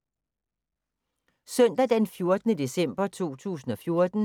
Søndag d. 14. december 2014